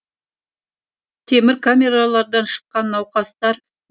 темір камералардан шыққан науқастар